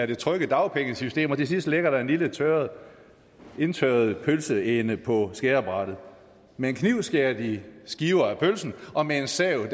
det trygge dagpengesystem og til sidst ligger der en lille indtørret indtørret pølseende på skærebrættet med en kniv skærer de skiver af pølsen og med en sav